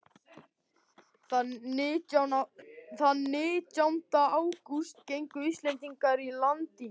Þann nítjánda ágúst gengu Íslendingarnir á land í